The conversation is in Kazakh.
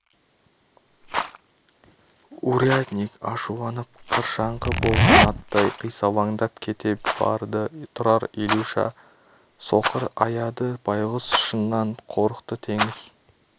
урядник ашуланып қыршаңқы болған аттай қисалаңдап кете барды тұрар илюша соқырды аяды байғұс шыннан қорықты теңіз